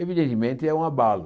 Evidentemente, é um abalo.